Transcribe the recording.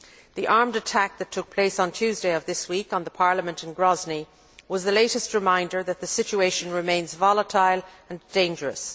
The armed attack that took place on Tuesday of this week on the Parliament in Grozny was the latest reminder that the situation remains volatile and dangerous.